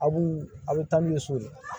A b'u a bɛ taa n'u ye so ye